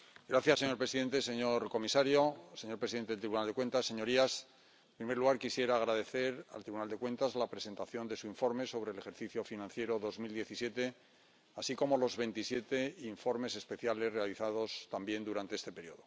Señor presidente, señor comisario, señor presidente del Tribunal de Cuentas, señorías, en primer lugar, quisiera agradecer al Tribunal de Cuentas la presentación de su informe sobre el ejercicio financiero 2017, así como los veintisiete informes especiales realizados también durante este periodo.